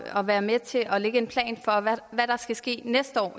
at være med til at lægge en plan for hvad der skal ske næste år